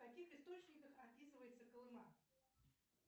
в каких источниках описывается колыма